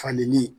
Falili